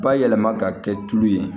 Bayɛlɛma ka kɛ tulu ye